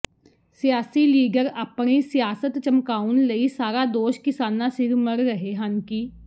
ਸਿਆਸੀ ਲੀਡਰ ਆਪਣੀ ਸਿਆਸਤ ਚਮਕਾਉਣ ਲਈ ਸਾਰਾ ਦੋਸ਼ ਕਿਸਾਨਾਂ ਸਿਰ ਮੜ ਰਹੇ ਹਨ ਕਿ